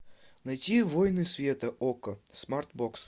найти войны света окко смарт бокс